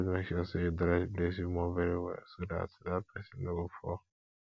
always make sure you dry the place you mop very well so dat dat person no go fall